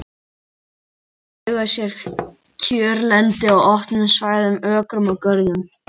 Bókfinkur eiga sér kjörlendi á opnum svæðum, ökrum og görðum.